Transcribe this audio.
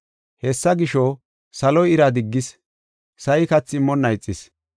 Hessa gisho, saloy ira diggis, sa7i kathi immonna ixis.